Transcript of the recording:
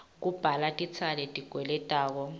kubhadala tintsela letikweletwako